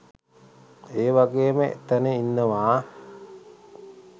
ඒ වගේම එතැන ඉන්නවා